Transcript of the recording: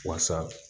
Waasa